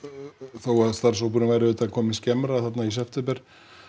þó að starfshópurinn væri auðvitað kominn skemmra þarna í september